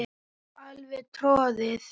Alveg troðið.